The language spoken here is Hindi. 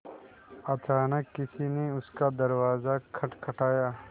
अचानक किसी ने उनका दरवाज़ा खटखटाया